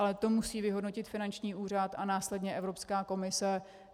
Ale to musí vyhodnotit finanční úřad a následně Evropská komise.